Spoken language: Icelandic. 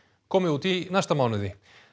komi út í næsta mánuði